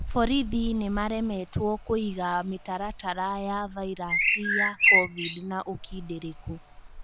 Borithi nĩ maremetwo kũiga mĩtaratara ya vairasi ya kovidi na ũkindĩrĩkũ